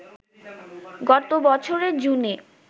গত বছরের জুনে